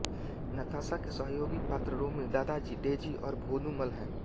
नताशा के सहयोगी पात्र रोमी दादाजी डेज़ी और भोंदूमल हैं